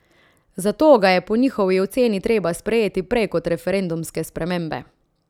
Zato ga je po njihovi oceni treba sprejeti prej kot referendumske spremembe.